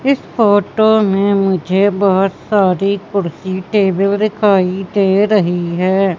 इस फोटो में मुझे बहोत सारी कुर्सी टेबिल दिखाई दे रही है।